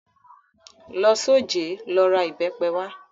Lọ s'ojẹ́, lọ ra ìbẹ́pe wá!